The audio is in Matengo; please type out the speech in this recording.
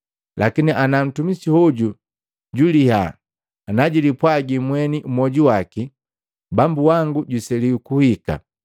Lakini ana ntumisi hoju juliya najilipwaji mweni mmwoju waki, ‘Bambu wango juseliwa kuhika.’